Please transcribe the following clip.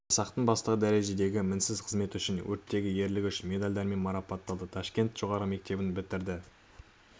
жасақтың бастығы дәрежедегі мінсіз қызметі үшін өрттегі ерлігі үшін медальдарымен марапатталды ташкент жоғарғы мектебін бітірді